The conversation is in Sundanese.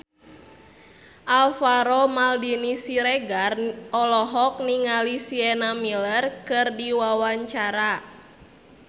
Alvaro Maldini Siregar olohok ningali Sienna Miller keur diwawancara